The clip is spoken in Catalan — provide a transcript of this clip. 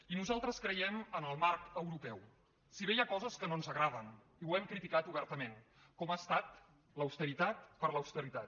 i nosaltres creiem en el marc europeu si bé hi ha coses que no ens agraden i ho hem criticat obertament com ha estat l’austeritat per l’austeritat